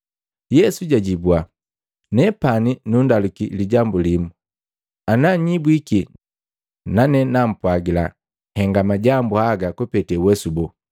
Yesu jwajibua, “Nanepani nundaluki lijambu limu, ana nhnyibwiki, nane nampwagila nhenga majambu haga kupete uwesu boo.